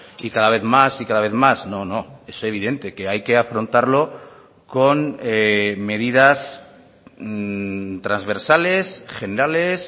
y cada vez más y cada vez más no no es evidente que hay que afrontarlo con medidas transversales generales